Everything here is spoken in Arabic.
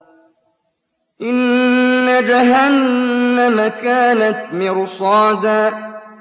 إِنَّ جَهَنَّمَ كَانَتْ مِرْصَادًا